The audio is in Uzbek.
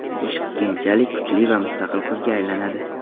Ishq keyinchalik kuchli va mustaqil qizga aylanadi.